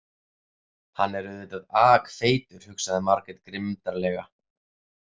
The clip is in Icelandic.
Hann er auðvitað akfeitur, hugsaði Margrét grimmdarlega.